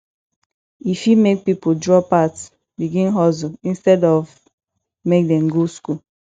e fit make pipo drop out begin hustle instead of make dem go school